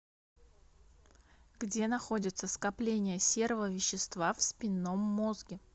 где находятся скопления серого вещества в спинном мозге